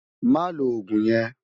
Má ló ógún yèn